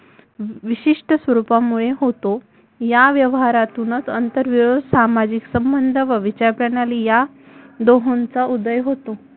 विशिष्ट स्वरूपामुळे होतो या व्यवहारातुनच आंतरविरोध सामाजिक संबंध व विचारप्रणाली या दोहोंचा उदय होतो